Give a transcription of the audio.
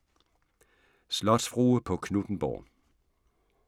Slotsfrue på Knuthenborg